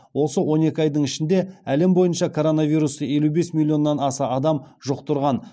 осы он екі айдың ішінде әлем бойынша коронавирусты елу бес милионнан аса адам жұқтырған